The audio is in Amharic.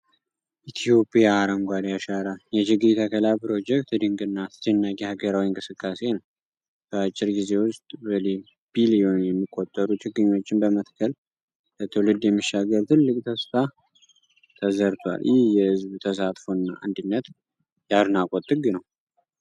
ኢትዮጵያ "አረንጓዴ አሻራ" የችግኝ ተከላ ፕሮጀክት ድንቅና አስደናቂ ሀገራዊ እንቅስቃሴ ነው! በአጭር ጊዜ ውስጥ በቢሊዮን የሚቆጠሩ ችግኞችን በመትከል፣ ለትውልድ የሚሻገር ትልቅ ተስፋ ተዘርቷል። ይህ የሕዝብ ተሳትፎ እና አንድነት የአድናቆት ጥግ ነው!